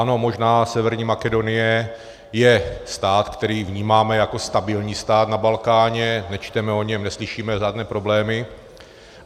Ano, možná Severní Makedonie je stát, který vnímáme jako stabilní stát na Balkáně, nečteme o něm, neslyšíme žádné problémy.